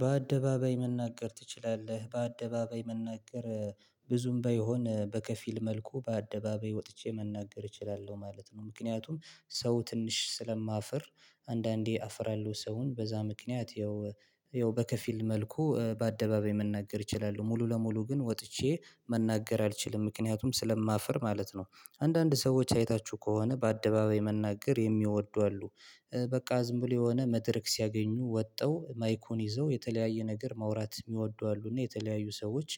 በአደባባይ መናገር ትችላለህ በአደባባይ መናገር ብዙም ባይሆን በከፊል መልኩ በአደባባይ ወጥቼ መናገር እችላለሁ ማለት ነው ምክንያቱም ሰው ትንሽ ስለማፍር አንዳንዴ አፍራለሁ ሰውን በዛ ምክንያት ይኸው ይኸው በከፊል መልኩ በአደባባይ መናገር ይችላሉ ሙሉ ለሙሉ ግን ወጥቼ መናገር አልችልም ምክንያቱም ስለማፍር ማለት ነው። አንዳንድ ሰዎች አይታችሁ ከሆነ በአደባባይ መናገር የሚወዱ አሉ። በቃ ዝም ብሎ የሆነ መድረክ ሲያገኙ ወጣው ማይኩን ይዘው የተለያየ ነገር ማውራት የሚወዱ አሉ እና የተለያዩ ሰዎች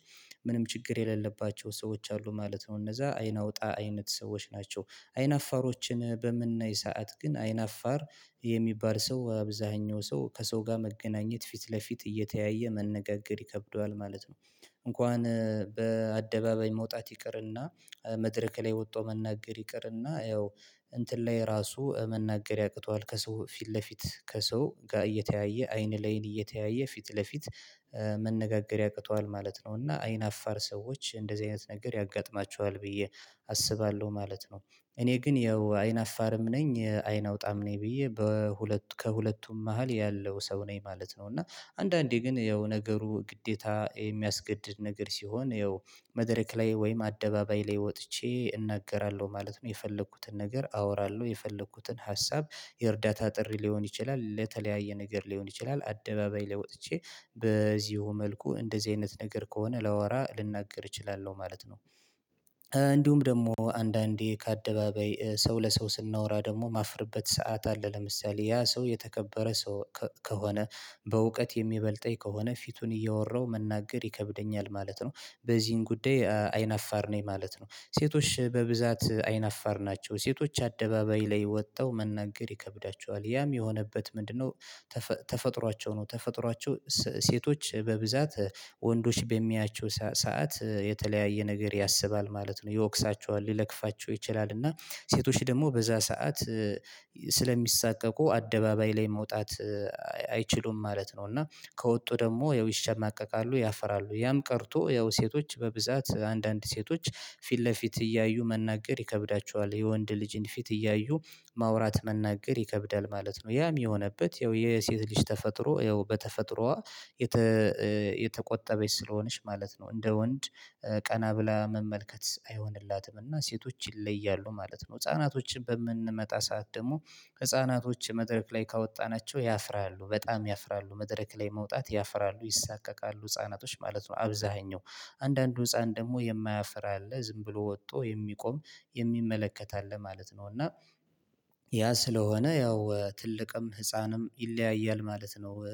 ምንም ችግር የሌለባቸው ሰዎች አሉ ማለት ነው። እነዛ አይን አውጣ አይነት ሰዎች ናቸው። አይን አፋሮችን በምናይ ሰዓት ግን አይን አፋር የሚባል ሰው አብዛኛው ሰው ከሰው ጋር መገናኘት ፊት ለፊት እየተያየ መነጋገር ይከብደዋል ማለት ነው። እንኳን በአደባባይ መውጣት ይቅርና መድረክ ላይ ወጥቶ መናገር ይቅርና ያው እንትን ላይ ራሱ መናገር ያቅተዋል ከሰው ፊት ለፊት ከሰው ጋር እየተያየ አይን ላይን እየተያየ ፊት ለፊት መነጋገር ያቅተዋል ማለት ነው እና አይን አፋር ሰዎች እንደዚህ አይነት ነገር ያጋጥማቸዋል ብዬ አስባለሁ ማለት ነው። እኔ ግን ያው አይን አፋርም ነኝ አይን አውጣም ነኝ ብዬ በሁለቱ ከሁለቱም መሃል ያለው ሰው ነኝ ማለት ነው እና አንዳንዴ ግን ያው ነገሩ ግዴታ የሚያስገድድ ነገር ሲሆን ያው መድረክ ላይ ወይም አደባባይ ላይ ወጥቼ እናገራለሁ ማለት ነው። የፈለኩትን ነገር አወራለሁ የፈለኩትን ሀሳብ የእርዳታ ጥሪ ሊሆን ይችላል ለተለያየ ነገር ሊሆን ይችላል አደባባይ ላይ ወጥቼ በዚሁ መልኩ እንደዚህ አይነት ነገር ከሆነ ላወራ ልናገር እችላለሁ ማለት ነው። እ እንዲሁም ደግሞ አንዳንዴ ከአደባበይ ሰው ለሰው ስናወራ ደግሞ ማፍርበት ሰዓት አለ። ለምሳሌ ያ ሰው የተከበረ ሰው ከሆነ በእውቀት የሚበልጠኝ ከሆነ ፊቱን እያወራሁ መናገር ይከብደኛል ማለት ነው። በዚህን ጉዳይ አይናፋር ነኝ ማለት ነው። ሴቶች በብዛት አይናፋር ናቸው። ሴቶች አደባባይ ላይ ወጥተው መናገር ይከብዳቸዋል። ያም የሆነበት ምንድነው ተፈ ተፈጥሯቸው ነው ተፈጥሯቸው ሰ ሴቶች በብዛት ወንዶች በሚያያቸው ሰ ሰዓት የተለያየ ነገር ያስባል ማለት ነው። ይወቅሳቸዋል ይለክፋቸው ይችላል እና ሴቶች ደግሞ በዛ ሰዓት ስለሚሳቀቁ አደባባይ ላይ መውጣት አይችሉም ማለት ነው እና ከወጡ ደግሞ ያው ይሸማቀቃሉ ያፍራሉ ያም ቀርቶ ያው ሴቶች በብዛት አንዳንድ ሴቶች ፊት ለፊት እያዩ መናገር ይከብዳቸዋል። የወንድ ልጅን ፊት እያዩ ማውራት መናገር ይከብዳል ማለት ነው። ያ የሆነበት ያው የሴት ልጅ ተፈጥሮ ያው በተፈጥሮዋ የተቆጠበች ስለሆነች ማለት ነው እንደ ወንድ እ ቀና ብላ መመልከት አይሆንላትም እና ሴቶች ይለያሉ ማለት ነው። ህፃናቶችን በምንመጣ ሰዓት ደግሞ ህፃናቶች መድረክ ላይ ካወጣናቸው ያፍራሉ። በጣም ያፍራሉ። መድረክ ላይ መውጣት ያፍራሉ። ይሳቀቃሉ ህፃናቶች ማለት ነው አብዛኛው አንዳንዱ ህፃን ደግሞ የማያፍር አለ ዝም ብሎ ወጥቶ የሚቆም የሚመለከት አለ ማለት ነው እና ያ ስለሆነ ያው ትልቅም ህፃንም ይለያያል ማለት ነው። እ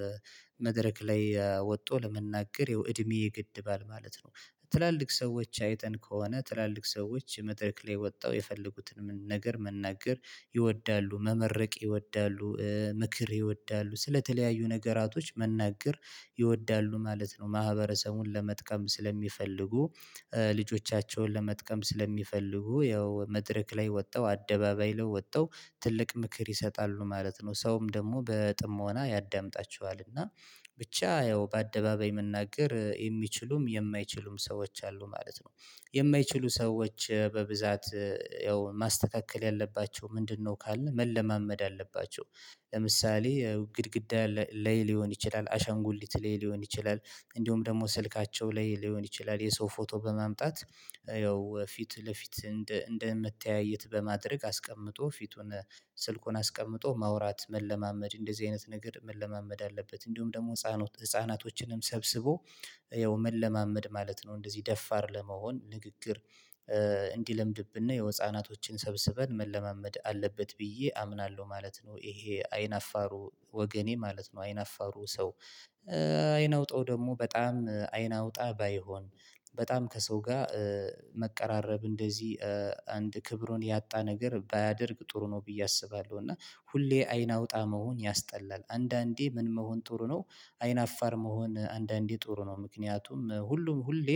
መድረክ ላይ ወጥቶ ለመናገር የው እድሜ ይገድባል ማለት ነው። ትላልቅ ሰዎች አይተን ከሆነ ትላልቅ ሰዎች መድረክ ላይ ወጠው የፈለጉትን ነገር መናገር ይወዳሉ። መመረቅ ይወዳሉ። እ ምክር ይወዳሉ ስለተለያዩ ነገራቶች መናገር ይወዳሉ ማለት ነው ማህበረሰቡን ለመጥቀም ስለሚፈልጉ ልጆቻቸውን ለመጥቀም ስለሚፈልጉ ያው መድረክ ላይ ወጠው አደባባይ ለይ ወጠው ትልቅ ምክር ይሰጣሉ ማለት ነው ሰውም ደግሞ በጥሞና ያዳምጣቸዋል እና ብቻ ያው በአደባባይ መናገር የሚችሉም የማይችሉም ሰዎች አሉ ማለት ነው። የማይችሉ ሰዎች በብዛት እ ያው ማስተካከል ያለባቸው ምንድነው ካልን መለማመድ አለባቸው። ለምሳሌ ግድግዳ ላይ ሊሆን ይችላል አሻንጉሊት ላይ ሊሆን ይችላል እንዲሁም ደግሞ ስልካቸው ላይ ሊሆን ይችላል የሰው ፎቶ በማምጣት እ ያው ፊት ለፊት እንደ እንደምትያይት በማድረግ አስቀምጦ ፊቱን ስልኩን አስቀምጦ ማውራት መለማመድ እንደዚህ አይነት ነገር መለማመድ አለበት እንዲሁም ደግሞ ህፃናቶችንም ሰብስቦ ያው መለማመድ ማለት ነው። እንደዚህ ደፋር ለመሆን ንግግር እ የው ህናቶችን ሰብስበን መለማመድ አለበት ብዬ አምናለሁ ማለት ነው። ይሄ አይን አፋሩ ወገኔ ማለት ነው አይነፋሩ ሰው እ አይናውጠው ደግሞ በጣም እ አይናውጣ ባይሆን። በጣም ከሰው ጋር እ መቀራረብ እነደዚህ እ አንድ ክብሩን ያጣ ነገር ባያደርግ ጥሩ ነው ብዬ አስባለሁ። እና ሁሌ አይን አውጣ መሆን ያስጠላል አንዳንዴ ምን መሆን ጥሩ ነው አይን አፋር መሆን አንዳንዴ ጥሩ ነው ምክንያቱም ሁሉም ሁሌ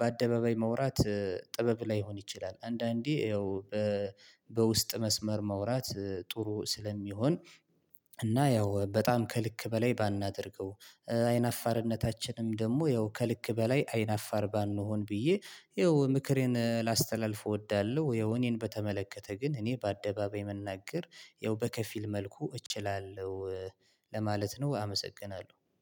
በአደባባይ መውራት እ ጥበብ ላይሆን ይችላል አንዳንዴ ያው እ በውስጥ መስመር ማውራት እ ጥሩ ስለሚሆን እና ያው በጣም ከልክ በላይ ባናደርገው። እ አይናፋርነታችንም ደግሞ ያው ከልክ በላይ አይናፋር ባንሆን ብዬ የው ምክሬን ላስተላልፍ እወዳለሁ። የው እኔን በተመለከተ ግን እኔ በአደባባይ መናገር ያው በከፊል መልኩ እችላለሁ ለማለት ነው አመሰግናለሁ።